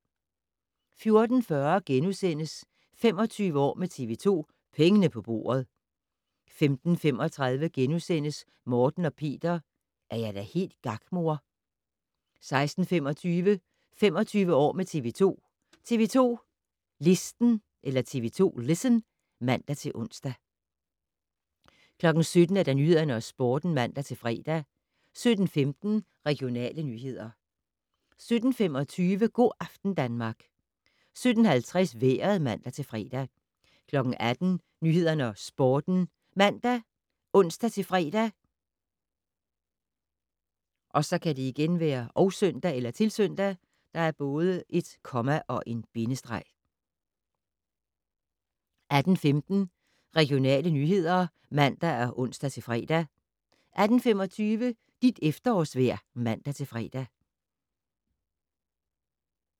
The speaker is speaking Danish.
14:40: 25 år med TV 2: Pengene på bordet * 15:35: Morten og Peter - er jeg da helt gak, mor? * 16:25: 25 år med TV 2: TV 2 Listen (man-ons) 17:00: Nyhederne og Sporten (man-fre) 17:15: Regionale nyheder 17:25: Go' aften Danmark 17:50: Vejret (man-fre) 18:00: Nyhederne og Sporten ( man, ons-fre, -søn) 18:15: Regionale nyheder (man og ons-fre) 18:25: Dit efterårsvejr (man-fre)